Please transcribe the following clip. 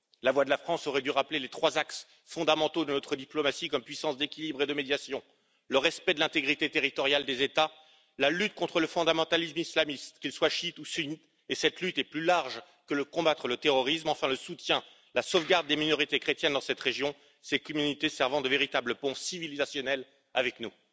La voix de la France aurait dû rappeler les trois axes fondamentaux de notre diplomatie comme puissance d'équilibre et de médiation le respect de l'intégrité territoriale des États, la lutte contre le fondamentalisme islamiste, qu'il soit chiite ou sunnite et cette lutte est plus large que de combattre le terrorisme et enfin le soutien aux des minorités chrétiennes et leur protection dans cette région, ces communautés servant de véritables ponts civilisationnels avec nous.